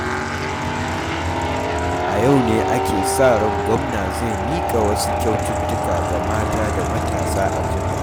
A yau ne ake sa ran Gwamna zai miƙa wasu kyaututtuka ga mata da matasa a jihar.